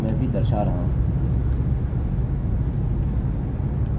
मैंने इसे दो बार रिफ्रेश कर दिया है अतः फलस्वरूप 2 रिकार्डसअभिलेखलिए गये हैं